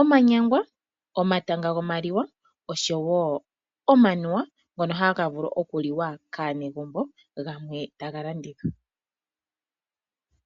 omanyangwa, omatanga gomaliwa, oahowo omanuwa ngono haga vulu okuliwa kaanegumbo gamwe taga landithwa.